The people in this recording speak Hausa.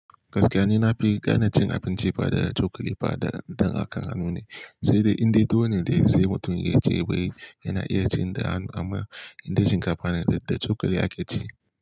Gaskiyani, na fi ganin cin abinci ba da cokali ba dan haka hannu ne, sai dai indai tuwone dai sai mutum ya ci baye yana iya cin da hanu, amma indai shinkafa ne da cokali ake ci.